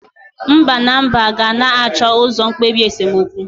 Mba na Mba ga-na acho uzo mkpebi esemokwu.